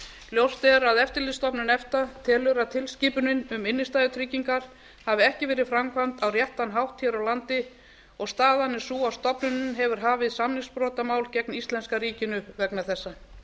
ljóst er að eftirlitsstofnun efta telur að tilskipunin um innstæðutryggingar hafi ekki verið framkvæmd á réttan hátt hér á landi og staðan er sú að stofnunin hefur hafið samningsbrotamál gegn íslenska ríkinu vegna þessa